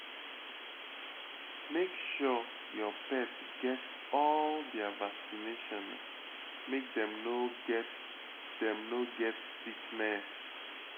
Make sure your pet get all their vaccination, make dem no get dem no get sickness.